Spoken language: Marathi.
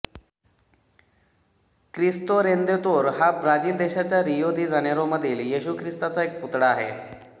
क्रिस्तो रेदेंतोर हा ब्राझिल देशाच्या रियो दि जानेरोमधील येशू ख्रिस्ताचा एक पुतळा आहे